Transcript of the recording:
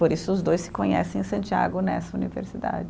Por isso, os dois se conhecem em Santiago, nessa universidade.